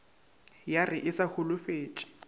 ya re e sa holofetše